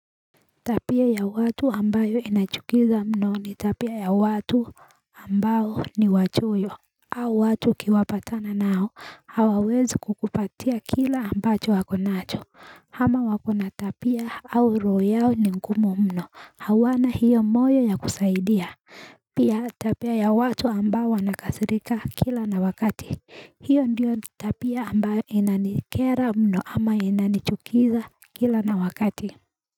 Tabia ya watu ambayo inachukiza mno ni tabia ya watu ambao ni wachoyo au watu ukiwapatana nao hawawezi kukupatia kile ambacho wako nacho ama wakona tabia au roho yao ni ngumu mno hawana hiyo moyo ya kusaidia Pia tabia ya watu ambao wanakasirika kila na wakati Hio ndiyo tabia ambayo inanikera mno ama inanichukiza kila na wakati.